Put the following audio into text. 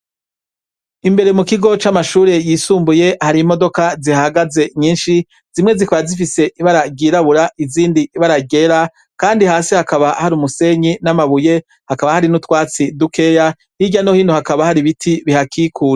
Imbere mu kigo c'amashure yisumbuye hari imodoka zihahagaze nyinshi, zimwe zikaba zifise ibara ryirabura, izindi ibara ryera kandi hasi hakaba hari umusenyi n'amabuye, hakaba hari n'utwatsi dukeya, hirya no hino hakaba hari ibiti bihakikuje.